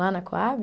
Lá na Coab?